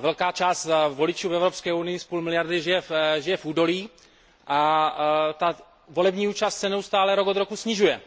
Velká část voličů v Evropské unii, asi půlmiliardy, žije v údolí a volební účast se neustále rok od roku snižuje